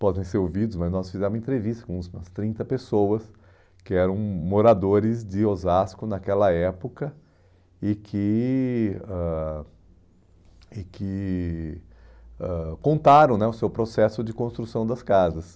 Podem ser ouvidos, mas nós fizemos uma entrevista com umas trinta pessoas que eram moradores de Osasco naquela época e que ãh e que ãh contaram né o seu processo de construção das casas.